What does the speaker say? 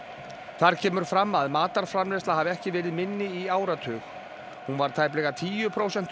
þar kemur fram að matarframleiðsla hafi ekki verið minni í áratug hún var tæplega tíu prósentum